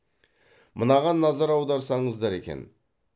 мынаған назар аударсаңыздар екен